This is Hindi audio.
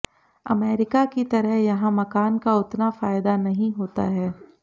अमेरिका की तरह यहां मकान का उतना फायदा नहीं होता है